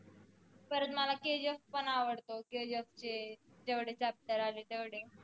परत मला KGF पन आवडतो KGF चे जेवढे chapter आले तेवढे